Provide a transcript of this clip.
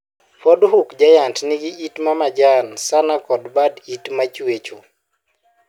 Ford Hook Giant nigi yiit ma majan sana kod bad yiet machwecho.